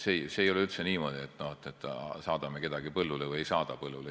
See ei ole üldse niimoodi, et saadame kedagi põllule või ei saada põllule.